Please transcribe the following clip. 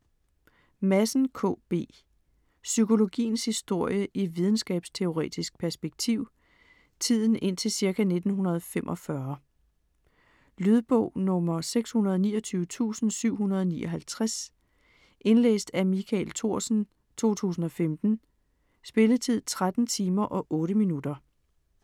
Madsen, K. B.: Psykologiens historie i videnskabsteoretisk perspektiv Tiden indtil ca. 1945. Lydbog 629759 Indlæst af Michael Thorsen, 2015. Spilletid: 13 timer, 8 minutter.